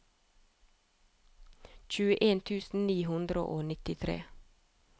tjueen tusen ni hundre og nittitre